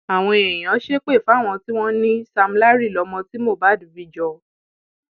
àwọn èèyàn ṣépè fáwọn tí wọn ní sam larry lọmọ tí mohbad bí jọ